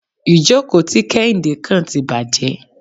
Ìjókò tí Kéhìndé kàn tí bàjé.